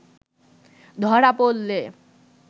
ধরা পড়লে